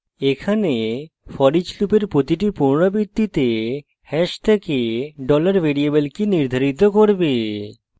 এখানে foreach লুপের প্রতিটি পুনরাবৃত্তিতে hash থেকে $variable key নির্ধারিত করবে